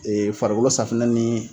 farikolo safinɛ ni